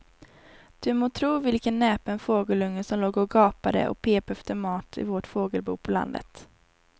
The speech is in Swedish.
Du må tro vilken näpen fågelunge som låg och gapade och pep efter mat i vårt fågelbo på landet.